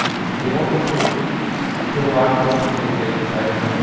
Então, assim, tem uma pessoa que... E tem o Marcão, que eu falei que é designer também.